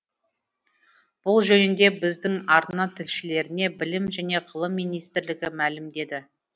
бұл жөнінде біздің арна тілшілеріне білім және ғылым министрлігі мәлімдеді